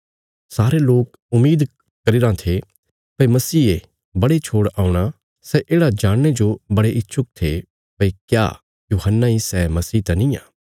सारे लोक उम्मीद करी रां थे भई मसीहे बड़े छोड़ औणा सै येढ़ा जाणने जो बड़े इच्छुक थे भई क्या यूहन्ना इ सै मसीहा त निआं